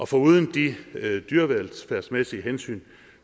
foruden de dyrevelfærdsmæssige hensyn